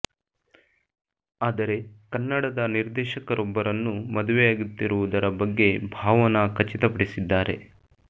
ಆದರೆ ಕನ್ನಡದ ನಿರ್ದೇಖಕರೊಬ್ಬರನ್ನು ಮದುವೆಯಾಗುತ್ತಿರುವುದರ ಬಗ್ಗೆ ಭಾವನಾ ಖಚಿತ ಪಡಿಸಿದ್ದಾರೆ